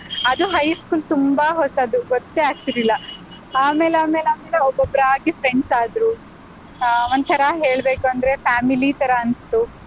ಅದು high school ತುಂಬಾ ಹೊಸದು ಗೊತ್ತೇ ಆಗ್ತಿರ್ಲಿಲ್ಲ. ಆಮೇಲ್ ಆಮೇಲ್ ಆಮೇಲೆ ಒಬ್ಬೊಬ್ರಾಗಿ friends ಆದ್ರು ಆಹ್ ಒಂಥರಾ ಹೇಳ್ಬೇಕೂಂದ್ರೆ family ತರಾ ಅನ್ಸ್ತು.